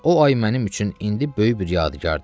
Və o ay mənim üçün indi böyük bir yadigardır.